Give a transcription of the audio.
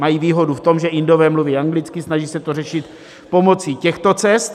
Mají výhodu v tom, že Indové mluví anglicky, snaží se to řešit pomocí těchto cest.